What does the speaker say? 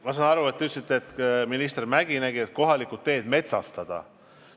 Ma saan aru, et teie arvates minister Mäggi nägi võimalust kohalikud teed metsastada.